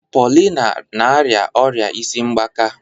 Paulina na-arịa ọrịa isi mgbaka.